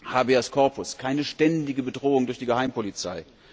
Habeas Corpus, keine ständige Bedrohung durch die Geheimpolizei!